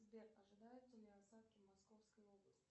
сбер ожидаются ли осадки в московской области